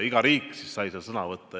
Iga riik sai seal sõna võtta.